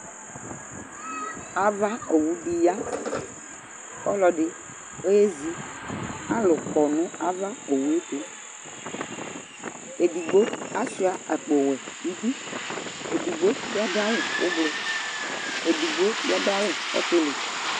Ava owu di ya, Ɔlɔdi eyézi Alu kɔnu ava owuétu Ɛdigbo achua akpo wuɛ di idu Édigbo bia du awu ublu Édigbo bi adu awu ɔtili